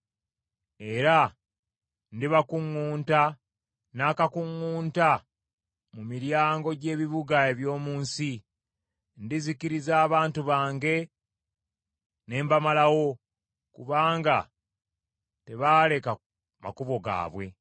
Era ndibakuŋŋunta n’ekitiiyo eky’amannyo mu miryango gy’ebibuga eby’omu nsi. Ndizikiriza abantu bange ne mbamalawo kubanga tebaaleka makubo gaabwe.